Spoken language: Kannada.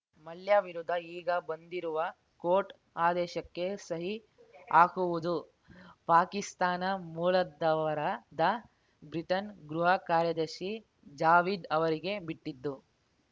ಮಲ್ಯ ವಿರುದ್ಧ ಈಗ ಬಂದಿರುವ ಕೋರ್ಟ್‌ ಆದೇಶಕ್ಕೆ ಸಹಿ ಹಾಕುವುದು ಪಾಕಿಸ್ತಾನ ಮೂಲದವರಾದ ಬ್ರಿಟನ್‌ ಗೃಹ ಕಾರ್ಯದರ್ಶಿ ಜಾವೀದ್‌ ಅವರಿಗೆ ಬಿಟ್ಟಿದ್ದು